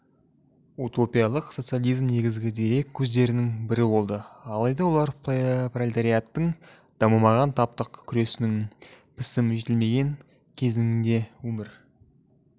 утопиялық социализм негізгі дерек көздерінің бірі болды алайда олар пролетариаттың дамымаған таптық күресінің пісіп-жетілмеген кезеңінде өмір